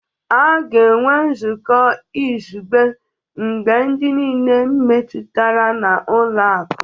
A ga-enwe nzukọ izugbe maka ndị niile metụtara na ụlọ akụ